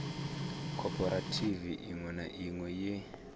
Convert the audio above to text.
khophorethivi iṅwe na iṅwe ye